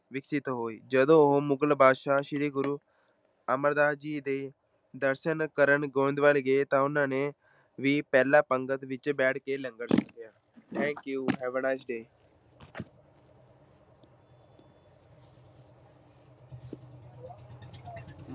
ਵਿਕਸਿਤ ਹੋਈ ਜਦੋਂ ਉਹ ਮੁਗ਼ਲ ਬਾਦਸ਼ਾਹ ਸ੍ਰੀ ਗੁਰੂ ਅਮਰਦਾਸ ਜੀ ਦੇ ਦਰਸ਼ਨ ਕਰਨ ਗੋਬਿੰਦਵਾਲ ਗਏ ਤਾਂ ਉਹਨਾਂ ਨੇ ਵੀ ਪਹਿਲਾਂ ਪੰਗਤ ਵਿੱਚ ਬੈਠ ਕੇ ਲੰਗਰ ਛਕਿਆ thank you have a nice day